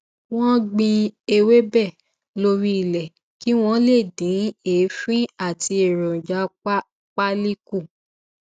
wọn gbin ewébè lórí ilé kí wón lè dín èéfín àti èròjà pálí kù